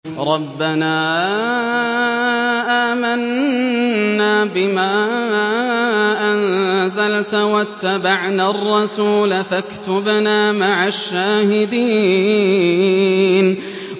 رَبَّنَا آمَنَّا بِمَا أَنزَلْتَ وَاتَّبَعْنَا الرَّسُولَ فَاكْتُبْنَا مَعَ الشَّاهِدِينَ